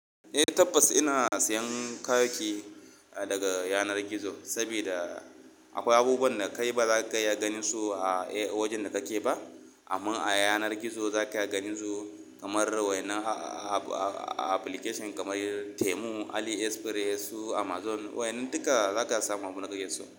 Eh tabbas ina sayan kayayyaki daga yanar gizo sabida akwai abubuwan da kai bazaka iya ganinsu a wajen da kake ba. Amma a yanar gizo zaka iya ganin su kamar wa'innan application kamar Temu, AliExpress, Amazon. Wayannan duka za ka iya samu abunda kake so.